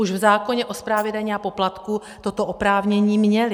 Už v zákoně o správě daní a poplatků toto oprávnění měly.